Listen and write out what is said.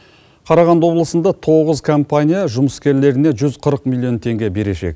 қарағанды облысында тоғыз компания жұмыскерлеріне жүз қырық миллион теңге берешек